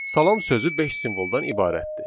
Salam sözü beş simvoldan ibarətdir.